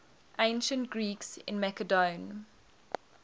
ancient greeks in macedon